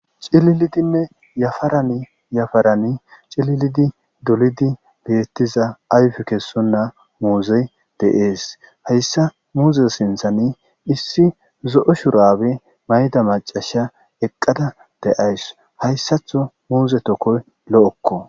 Cililidinne yafaran yafarani cililidi dolizi beeththiza ayfe kessonna muuzee de7ees; hayssa muuze sinththani issi zo7o shuraabe mayide maccashiya eqqada de7awus; hayssatho muuze thokoy lo7okkoo.